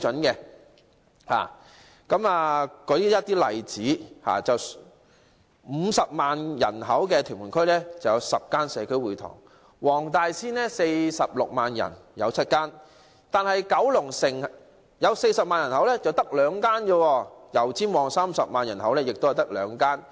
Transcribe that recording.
例如，屯門區50萬人口有10間社區會堂；黃大仙46萬人口有7間；但九龍城40萬人口卻只有兩間；油尖旺30萬人口也是只有兩間。